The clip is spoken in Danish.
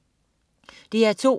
DR2: